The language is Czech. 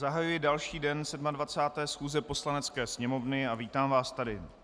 Zahajuji další den 27. schůze Poslanecké sněmovny a vítám vás tady.